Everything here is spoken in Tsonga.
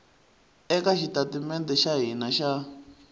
eka xitatimede xa hina xa